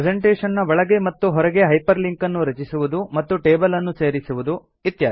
presentation ನ ಒಳಗೆ ಮತ್ತು ಹೊರಗೆ ಹೈಪರ್ ಲಿಂಕ್ ಅನ್ನು ರಚಿಸುವುದು ಮತ್ತು ಟೇಬಲ್ ಅನ್ನು ಸೇರಿಸುವುದು